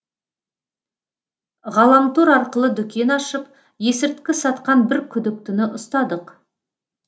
ғаламтор арқылы дүкен ашып есірткі сатқан бір күдіктіні ұстадық